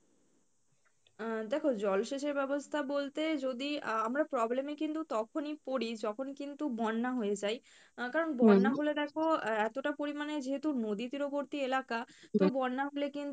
আহ দেখো জলসেচের বলতে যদি আহ আমরা problem এ কিন্তু তখনই পরি যখন কিন্তু বন্যা হয়ে যায় আহ কারন বন্যা হলে দেখো এ~ এতোটা পরিমানে যেহেতু নদী তীরবর্তী এলাকা তো বন্যা হলে